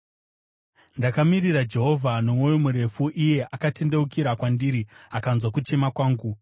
Ndakamirira Jehovha nomwoyo murefu; iye akatendeukira kwandiri akanzwa kuchema kwangu.